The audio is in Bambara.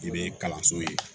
I bɛ kalanso ye